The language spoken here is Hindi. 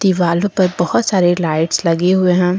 दीवालों पर बहुत सारे लाइट्स लगे हुए हैं।